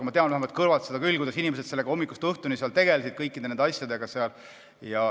Ma tean, olles kõrvalt vaadanud, kuidas inimesed sellega hommikust õhtuni tegelesid.